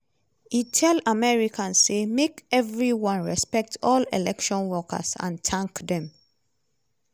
e tell americans say make evri one respect all election workers and tank dem.